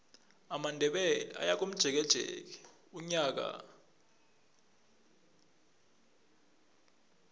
amandebele ayakomjekeje unyaka nonyaka